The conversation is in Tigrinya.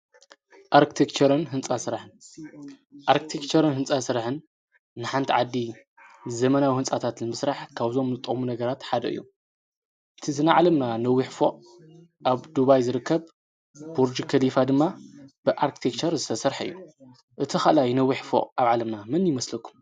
ኣርክቲኬቸርን ሕንፃ ስራሕን፣ ኣርክቲኬቸርን ሕንፃ ስራሕን ንሓንቲ ዓዲ ዘመናዊ ሕንፃታት ንምስራሕ ካብዞም ልጠቅሙ ነገራት ሓደ እዮም። እቲእዚ ናይ ዓለምና ነዊሕ ፎቕ ኣብ ዱባይ ዝርከብ ቡርጅ ከሊፋ ድማ ብኣርክትኬቸር ዝተሰርሕ እዩ። እቲ ኸልኣይ ነዊሕ ፎቕ ኣብ ዓለምና መን ይመስለኩም?